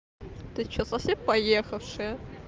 ты что совсем поехавший